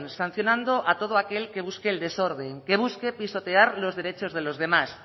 sancionando a todo aquel el desorden que busque pisotear los derechos de los demás